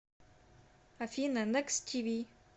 афина некст ти ви